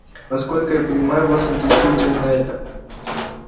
насколько я понимаю вас интересует именно это